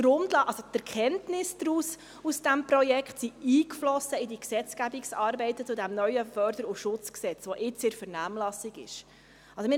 Die Erkenntnisse aus diesem Projekt sind in die Gesetzgebungsarbeiten zum neuen FSG, welches nun in der Vernehmlassung ist, eingeflossen.